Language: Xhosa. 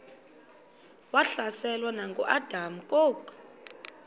wahlaselwa nanguadam kok